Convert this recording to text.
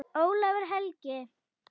Ólafur Helgi.